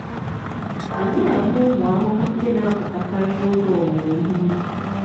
anyị na-ama ụmụ ahụhụ ndị na-apụtakarị n'oge owuwe ihe ubi.